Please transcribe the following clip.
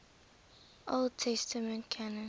old testament canon